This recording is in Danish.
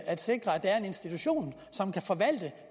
at sikre at der er en institution som kan forvalte